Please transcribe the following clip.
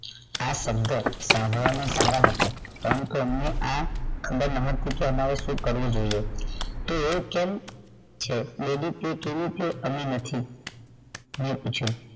આ શબ્દ સાભળવા માં સારા હતા પરંતુ અમને આ ન પૂછો આમરે શું કરવું જોઈએ તે એ કેમ છે તેવી રીતે કેવી રીતે અમે નથી મૈં પૂછ્યું